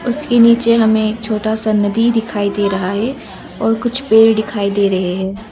उसके नीचे हमें एक छोटा सा नदी दिखाई दे रहा है और कुछ पेड़ दिखाई दे रहे है।